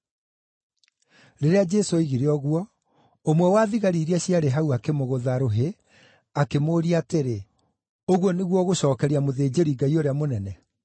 Rĩrĩa Jesũ oigire ũguo, ũmwe wa thigari iria ciarĩ hau akĩmũgũtha rũhĩ, akĩmũũria atĩrĩ, “Ũguo nĩguo ũgũcookeria mũthĩnjĩri-Ngai ũrĩa mũnene?”